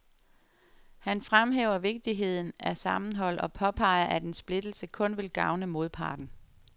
Han fremhæver vigtigheden af sammenhold og påpeger, at en splittelse kun vil gavne modparten.